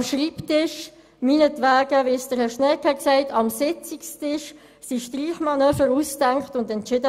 Am Schreibtisch – meinetwegen vom Sitzungstisch aus, wie Regierungsrat Schnegg ausgeführt hat – wurden Streichmanöver ausgedacht und entschieden.